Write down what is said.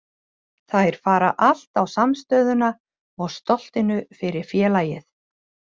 Þær fara allt á samstöðuna og stoltinu fyrir félagið.